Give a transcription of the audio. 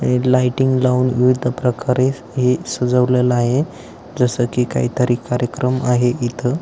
एक लाइटिंग लावून विविध प्रकारे हे सजवलेल आहे जस की एक काही तरी कार्यक्रम आहे इथ--